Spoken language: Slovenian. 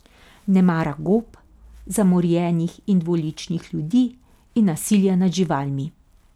Ne mara gob, zamorjenih in dvoličnih ljudi in nasilja nad živalmi.